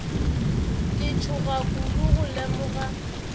ka tšhoga kudu go lemoga